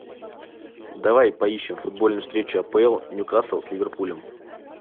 давай поищем футбольную встречу апл ньюкасл с ливерпулем